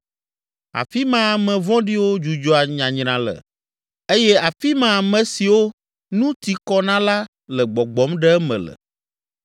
Afi ma ame vɔ̃ɖiwo dzudzɔa nyanyra le eye afi ma ame siwo nu ti kɔ na la le gbɔgbɔm ɖe eme le.